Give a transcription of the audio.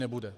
Nebude.